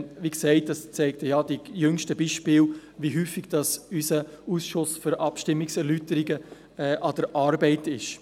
Wie gesagt, zeigen die jüngsten Beispiele, wie häufig unser Ausschuss für Abstimmungserläuterungen an der Arbeit ist.